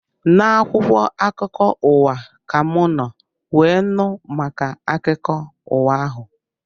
Na akwụkwọ akụkọ ụwa ka mụ nọ wee nụ maka akụkọ ụwa ahụ